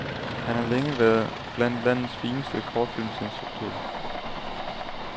Han har længe været blandt landets fineste kortfilmsinstruktører.